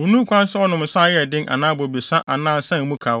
onni ho kwan sɛ ɔnom nsa a ɛyɛ den anaa bobesa anaa nsa a emu kaw.